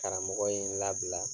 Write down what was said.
Karamɔgɔ ye n labila